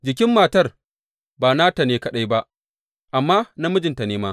Jikin matar ba nata ne kaɗai ba, amma na mijinta ne ma.